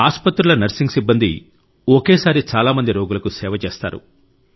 మన ఆసుపత్రుల నర్సింగ్ సిబ్బంది ఒకేసారి చాలా మంది రోగులకు సేవ చేస్తారు